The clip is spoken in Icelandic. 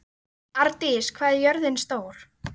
Ardís, hvað er jörðin stór?